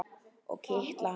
Og kitla hana.